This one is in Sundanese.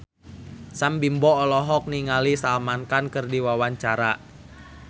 Sam Bimbo olohok ningali Salman Khan keur diwawancara